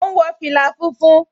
Mò ún wọ fìlà funfun